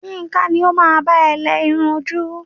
Yinka ni o máa bá ẹ lẹ irun ojú.